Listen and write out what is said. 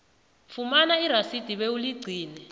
fumana irasidi bewuligcine